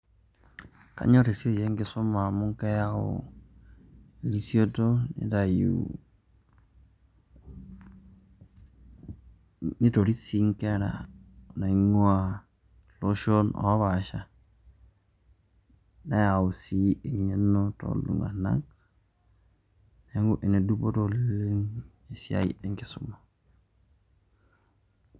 Kanyor esiai enkisuma amu keyau erisioto nitayu, nitoris sii nkera naing'ua ilsohon o paasha neyau sii eng'eno toltung'anak. Neeku ene dupoto oleng' esiai e nkisuma.